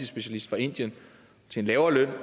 specialist fra indien til en lavere løn